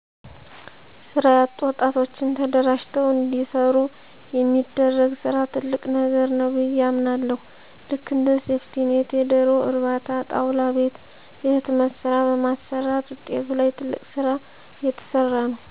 ስራ ያጡ ወጣቶችን ተደራጅተዉ እንዲሰሩ የሚደረግ ስራ ትልቅ ነገር ነዉ ብየ አምናለሁ ልክ እንደ ሴፍቲኔት የደሮ እርባታ ጣዉላ ቤት የህትመት ስራ በማሰማራት ዉጣቱ ላይ ትልቅ ስራ እየተሰራ ነዉ